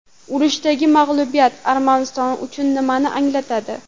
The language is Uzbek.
Urushdagi mag‘lubiyat Armaniston uchun nimani anglatadi?